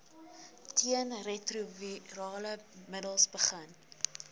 teenretrovirale middels begin